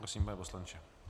Prosím, pane poslanče.